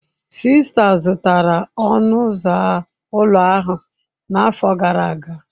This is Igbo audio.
Sista zụtara ọnụ ụzọ ụlọ ahụ n'afọ gara aga.